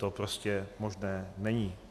To prostě možné není.